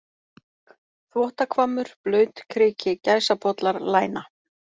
Þvottahvammur, Blautikriki, Gæsapollar, Læna